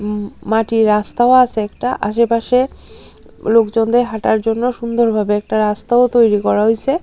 উম মাটির রাস্তাও আসে একটা আসেপাশে লোকজনদের হাঁটার জন্য সুন্দর ভাবে একটা রাস্তাও তৈরি করা হইসে।